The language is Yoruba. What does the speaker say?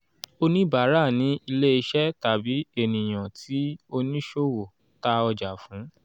oníbárà ni ilẹ́-iṣẹ́ tàbí ènìyàn tí oníṣòwò ta ọjà fún.